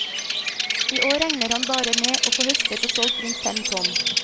I år regner han bare med å få høstet og solgt rundt fem tonn.